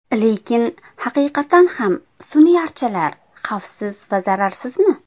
Lekin haqiqatan ham sun’iy archalar xavfsiz va zararsizmi?